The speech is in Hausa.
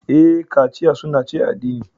Ee, kachiya sunna ce a addini.